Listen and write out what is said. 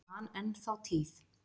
Ég man enn þá tíð.